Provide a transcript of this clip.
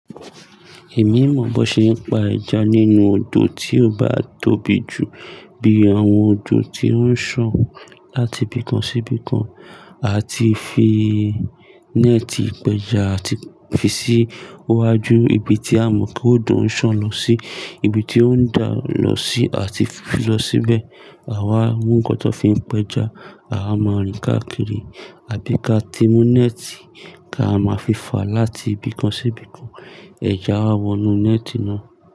Èmi mọ̀ bó ṣe ń pa ẹja nínú odò tí ó bá tóbi jù bí àwọn odò tí ó ń sàn láti ibìkan sí ibìkan, a ti fi néètì pẹja a ti fi sí iwájú ibi tí a mọ̀ pé òdo ń sàn lọ sí, ibi tí ó ń dà lọ sí a ti fi lọ síbẹ̀. Àwa mọ́ nǹkan tó fi ń pẹja, àwa máa rìn káàkiri àbí ká ti mú néètì kí a máa fi fà láti ibìkan sí ibìkan, ẹja á wọnú néètì náà.